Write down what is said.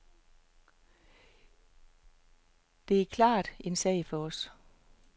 Det er klart en sag for os.